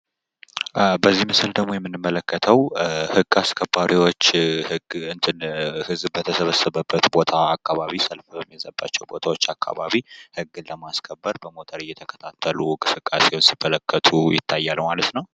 በዚህ ምስል ደግሞ የምንመለከተው ህግ አስከባሪዎች ህዝብ በተሰበሰበበት ቦታ አካባቢ ፣ ሰልፍ በሚበዛባቸው ቦታዎች አካባቢ ህግ ለማስከበር በሞተር እየተከታተሉ እንቅስቃሴውን ሲመለከቱ ይታያል ማለት ነው።